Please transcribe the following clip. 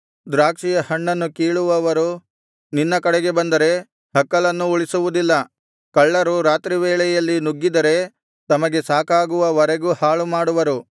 ದ್ರಾಕ್ಷಿಯ ಹಣ್ಣನ್ನು ಕೀಳುವವರು ನಿನ್ನ ಕಡೆಗೆ ಬಂದರೆ ಹಕ್ಕಲನ್ನೂ ಉಳಿಸುವುದಿಲ್ಲ ಕಳ್ಳರು ರಾತ್ರಿವೇಳೆಯಲ್ಲಿ ನುಗ್ಗಿದರೆ ತಮಗೆ ಸಾಕಾಗುವವರೆಗೂ ಹಾಳುಮಾಡುವರು